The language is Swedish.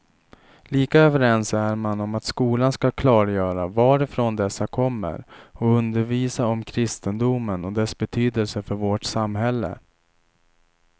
Lika överens är man om att skolan skall klargöra varifrån dessa kommer och undervisa om kristendomen och dess betydelse för vårt samhälle.